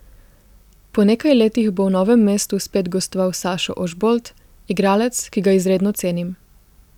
Po nekaj letih bo v Novem mestu spet gostoval Sašo Ožbolt, igralec, ki ga izredno cenim.